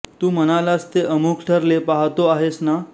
तू म्हणालास ते अमोघ ठरले पाहातो आहेस ना